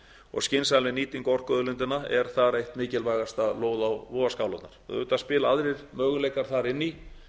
og skynsamleg nýting orkuauðlindanna er þar eitt mikilvægasta lóð á vogarskálarnar auðvitað spila aðrir möguleikar þar inn í